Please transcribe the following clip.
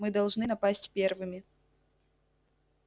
мы должны напасть первыми